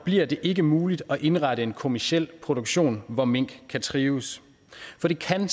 bliver det ikke muligt at indrette en kommerciel produktion hvor mink kan trives for det kan